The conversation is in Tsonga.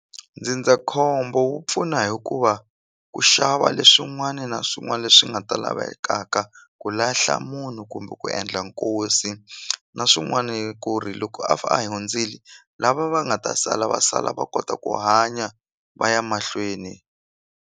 Ndzindzakhombo wu pfuna hikuva ku xava leswin'wani na swin'wani leswi nga ta lavekaka ku lahla munhu kumbe ku endla nkosi na swin'wani ku ri loko a a hi hundzili lava va nga ta sala va sala va kota ku hanya va ya mahlweni.